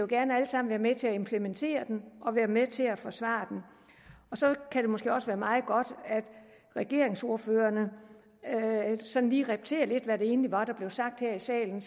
gerne alle sammen være med til at implementere den og være med til at forsvare den så kan det måske også være meget godt at regeringsordførerne lige repeterer lidt hvad det egentlig var der blev sagt her i salen